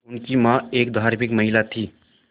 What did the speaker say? उनकी मां एक धार्मिक महिला थीं